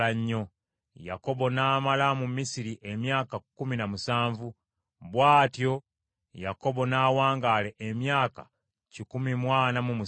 Yakobo n’amala mu Misiri emyaka kkumi na musanvu. Bw’atyo Yakobo n’awangaala emyaka kikumi mu ana mu musanvu.